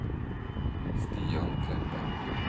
Stian Kleppe